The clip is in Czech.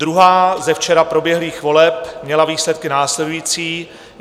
Druhá ze včera proběhlých voleb měla výsledky následující.